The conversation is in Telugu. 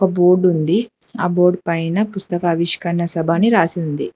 ఒక బోర్డు ఉంది ఆ బోర్డ్ పైన పుస్తకావిష్కరణ సభ అని రాసింది.